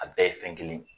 A bɛɛ ye fɛn kelen ye